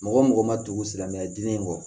Mɔgɔ mɔgɔ ma tugu silamɛya diinɛ kɔ